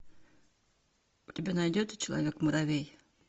у тебя найдется человек муравей